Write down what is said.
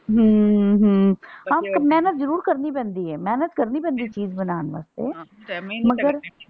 ਹਮ ਹਮ ਹਾਂ ਪਰ ਮੇਹਨਤ ਜ਼ਰੂਰ ਕਰਨੀ ਪੈਂਦੀ ਏ। ਮੇਹਨਤ ਕਰਨੀ ਪੈਂਦੀ ਚੀਜ਼ ਬਣਾਣ ਵਾਸਤੇ ਮਗਰ।